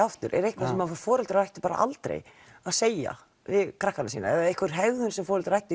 aftur er eitthvað sem foreldrar ættu bara aldrei að segja við krakkana sína eða er einhver hegðun sem foreldrar ættu